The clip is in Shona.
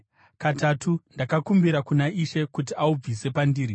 Katatu ndakakumbira kuna Ishe kuti aubvise pandiri.